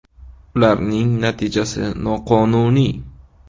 Ularning natijasi noqonuniy.